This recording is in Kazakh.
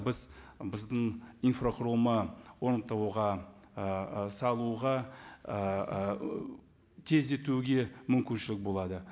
біз біздің инфрақұрылым ііі салуға ііі тездетуге мүмкіншілік болады